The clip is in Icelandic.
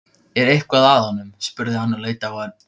Er eitthvað að honum? spurði hann og leit á Örn.